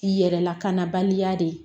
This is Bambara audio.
Yɛrɛ lakanabaliya de ye